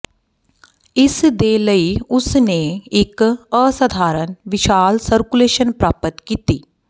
ਇਸ ਦੇ ਲਈ ਉਸਨੇ ਇੱਕ ਅਸਧਾਰਨ ਵਿਸ਼ਾਲ ਸਰਕੂਲੇਸ਼ਨ ਪ੍ਰਾਪਤ ਕੀਤੀ